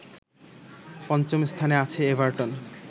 পঞ্চম স্থানে আছে এভারটন